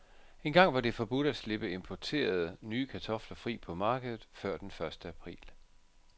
Engang var det forbudt at slippe importerede, nye kartofler fri på markedet før den første april.